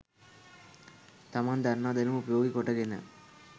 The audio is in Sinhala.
තමන් දන්නා දැනුම උපයෝගි කොට ගෙන